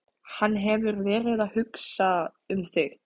Hann hefur verið að hugsa um þig.